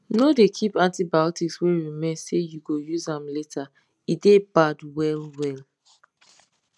no dey keep antibiotics wey remain say you go use am later e dey bad well well